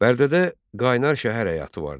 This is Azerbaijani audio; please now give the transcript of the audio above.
Bərdədə qaynar şəhər həyatı vardı.